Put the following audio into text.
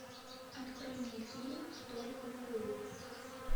открой мне фильм столик в углу